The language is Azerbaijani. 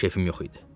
Kefim yox idi.